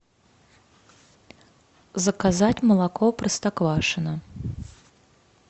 заказать молоко простоквашино